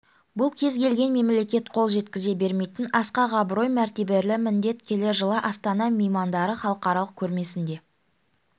бұл кез-келген мемлекет қол жеткізе бермейтін асқақ абырой мәртебелі міндет келер жылы астана меймандары халықаралық көрмесінде